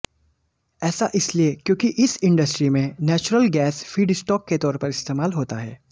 ऐसा इसलिए क्योंकि इस इंडस्ट्री में नेचुरल गैस फीडस्टॉक के तौर पर इस्तेमाल होता है